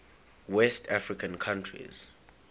west african countries